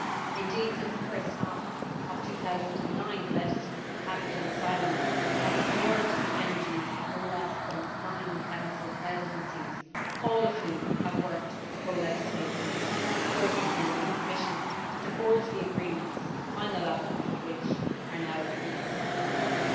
Indeed, since the first half of 2009 the legislative package on asylum has absorbed the energies of no fewer than nine Council Presidencies, all of whom have worked with the co legislator and the European Commission to forge the agreements, the final elements of which are now being put in place.